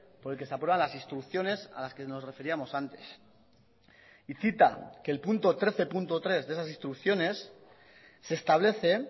por el que se aprueban las instrucciones a las que nos referíamos antes y cita que el punto trece punto tres de esas instrucciones se establece